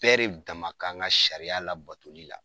Bɛɛ de dama ka ŋa sariya labatoli la.